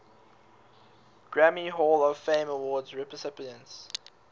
grammy hall of fame award recipients